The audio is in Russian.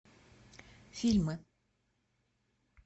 фильмы